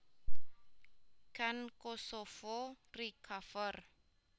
Can Kosovo recover